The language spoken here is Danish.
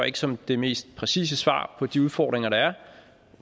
ikke som det mest præcise svar på de udfordringer der er